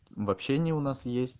в общении у нас есть